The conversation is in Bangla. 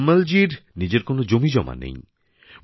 তায়ম্মলজীর নিজের কোন জমিজমা নেই